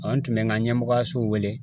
an tun bɛ n ka ɲɛmɔgɔyaso wele